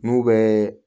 N'u bɛ